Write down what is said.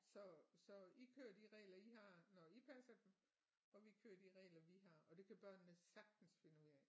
Så så I kører de regler I har når I passer og vi kører de regler vi har og det kan børnene sagtens finde ud af